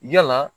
Yala